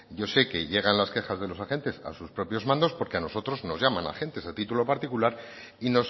yo sé que llegan las quejas de los agentes a sus propios mandos porque a nosotros nos llaman agentes a título particular y